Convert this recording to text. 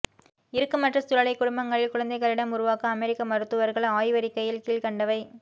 இறுக்கமற்ற சூழலை குடும்பங்களில் குழந்தைகளிடம் உருவாக்க அமெரிக்க மருத்துவர்கள் ஆய்வறிக்கையில் கீழ்க்கண்டவை